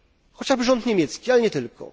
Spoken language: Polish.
chociażby za rząd niemiecki, ale nie tylko.